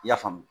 I y'a faamu